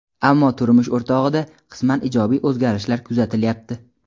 Ammo turmush o‘rtog‘ida qisman ijobiy o‘zgarishlar kuzatilyapti.